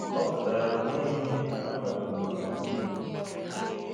Ọ pụtara na o nweghị ihe akwadoro maka ndị igbo